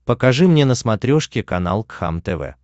покажи мне на смотрешке канал кхлм тв